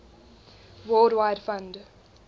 world wide fund